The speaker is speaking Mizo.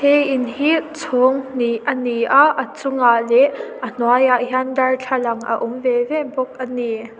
he in hi chhawng hnih ani a a chungah leh a hnuaiah hian darthlalang a awm ve ve bawk ani.